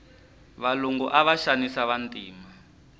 valungu ava xanisa vantima